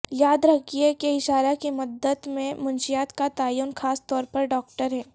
یاد رکھیں کہ اشارہ کی مدت میں منشیات کا تعین خاص طور پر ڈاکٹر ہے